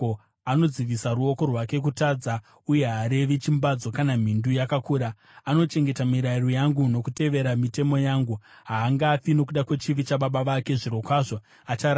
Anodzivisa ruoko rwake kutadza uye haarevi chimbadzo kana mhindu yakakura. Anochengeta mirayiro yangu nokutevera mitemo yangu. Haangafi nokuda kwechivi chababa vake; zvirokwazvo achararama.